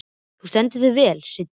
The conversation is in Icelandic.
Þú stendur þig vel, Siddi!